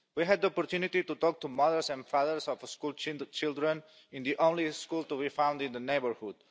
We had the opportunity to talk to mothers and fathers of the school children in the only school to be found in the neighbourhood.